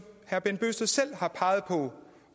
herre bent bøgsted selv har peget på